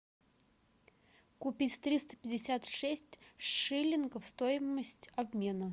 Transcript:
купить триста пятьдесят шесть шиллингов стоимость обмена